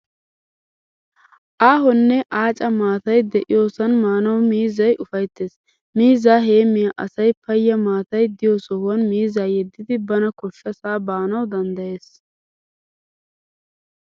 Aahonne aaca maatay de"iyoosan maanawu miizzay ufayttes. Miizza heemmiya asay payya maatay diyo sohuwan miizzaa yeddidi bana koshshasaa baanawu danddayees.